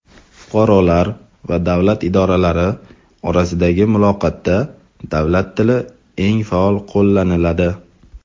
Fuqarolar va davlat idoralari orasidagi muloqotda davlat tili eng faol qo‘llaniladi.